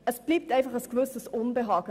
Es bleibt einfach ein gewisses Unbehagen.